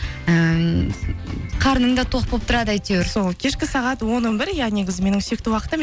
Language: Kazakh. ммм қарның да тоқ болып тұрады әйтеуір сол кешкі сағат он он бір иә негізі менің сүйікті уақытым